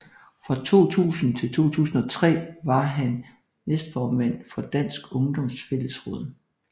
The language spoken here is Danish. Fra 2000 til 2003 var han næstformand for Dansk Ungdoms Fællesråd